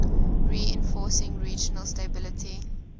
reinforcing regional stability